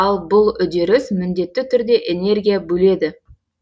ал бұл үдеріс міндетті түрде энергия бөледі